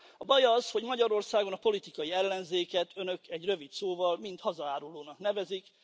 A baj az, hogy Magyarországon a politikai ellenzéket Önök egy rövid szóval hazaárulónak nevezik.